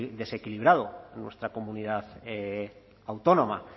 desequilibrado de nuestra comunidad autónoma